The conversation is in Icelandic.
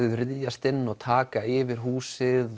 ryðjast inn og taka yfir húsið